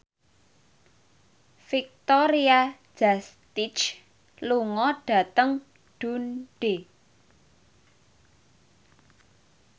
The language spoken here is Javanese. Victoria Justice lunga dhateng Dundee